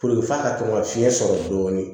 f'a ka to ka fiɲɛ sɔrɔ dɔɔni